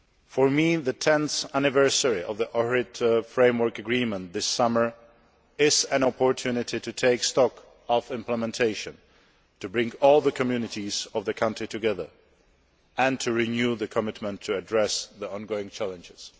For me, the 10th anniversary of the Ohrid Framework Agreement this summer is an opportunity to take stock of implementation, to bring all the communities of the country together and to renew the commitment to address the ongoing challenges.